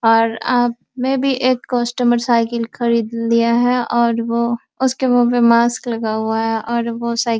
और आप में भी एक कस्टमर साइकिल खरीद लिया है और वो उसके मुँह पे मास्क लगा हुआ है और वो साइकिल --